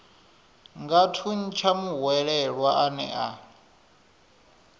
nga thuntsha muhwelelwa ane a